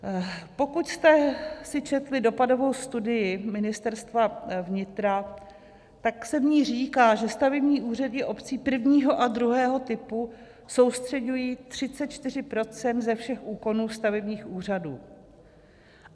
Pokud jste si četli dopadovou studii Ministerstva vnitra, tak se v ní říká, že stavební úřady obcí prvního a druhého typu soustřeďují 34 % ze všech úkonů stavebních úřadů.